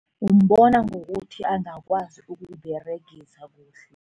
Umbona ngokuthi angakwazi ukuyiberegisa kuhle.